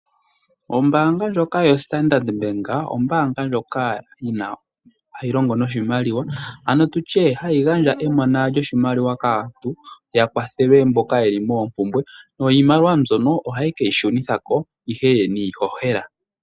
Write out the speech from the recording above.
Ombaanga ndjoka yoStandard bank ombaanga ndjoka hayi longo noshimaliwa ano tu tye hayi gandja emona lyoshimaliwa kaantu yakwathelwe mboka ye li moopumbwe, niimaliwa mbyono ohaye ke yi shunitha ko ihe niihohela.